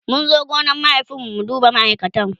mun zo gonan mahaifin mu mu duba ma'aikatan